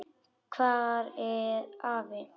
Hvað er afi?